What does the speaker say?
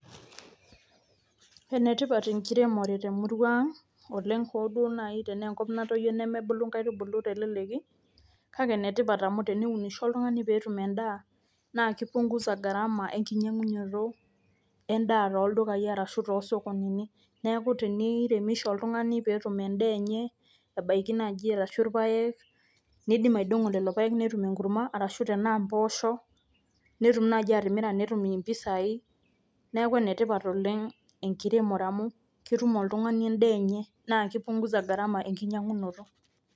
enetipat enkiremore temurua ang hoo duoo naaji, tenaa enkop natoyio, nemebulu inkaitubulu telelki, kake ene tipat amu teneunisho oltungani pe etum edaa, naa kipungusa garama ekinyiangunoto edaa tooldukayi arashu toosokonini. neeku teniremisho oltungani pee etum edaa, enye ebaiki naaji arshu irpaek. nidim aidong'o lelo paek netum enkurma, arashu tenaa mpoosho. netum naaji atimira netum mpisai, neeku ene tipat oleng. enkiremore emu ketum oltungani edaa enye. naa kipunguza gharama enkinyiang'unoto.